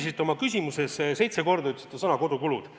Teate, teie küsimuses kõlas vaat et seitse korda sõna "kodukulud".